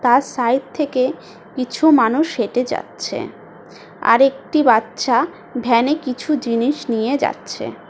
তার সাইড থেকে কিছু মানুষ হেঁটে যাচ্ছে। আর একটি বাচ্চা ভ্যানে কিছু জিনিস নিয়ে যাচ্ছে ।